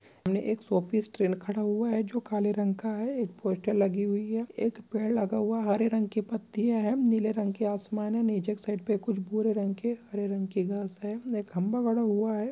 सामने एक show piece train खड़ा हुआ है जो काले रंग का है एक पोस्टर लगी हुई है एक पेड़ लगा हुआ है हरे रंग की पत्तीया हैं नीले रंग की आसमान है नीचे एक साइड पे कुछ भूरे रंग के हरे रंग के घास है एक खम्बा गड़ा हुआ हैं।